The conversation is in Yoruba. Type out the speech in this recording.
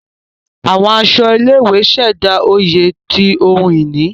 Àwọn aṣọ ilé-ìwé ṣẹda oyè ti ohùn ìní.